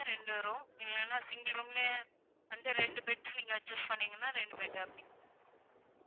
ரெண்டு room இல்லனா single room லயே அந்த ரெண்டு bed adjust பண்ணிங்கனா ரெண்டு bed அப்படி